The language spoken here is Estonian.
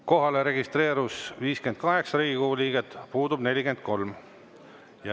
Kohalolijaks registreerus 58 Riigikogu liiget, puudub 43.